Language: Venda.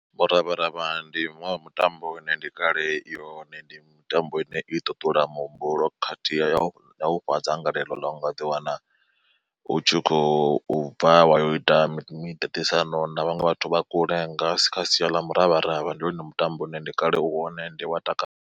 Muravharavha ndi muṅwe wa mutambo une ndi kale ihone ndi mitambo ine i ṱuṱula muhumbulo khathihi ya ufha dzangalelo ḽa ungaḓiwana utshikhou bva wa ya u ita miṱaṱisano na vhaṅwe vhathu vha kule nga kha sia ḽa muravharavha ndi wone mutambo une ndi kale u hone ende wa takadza.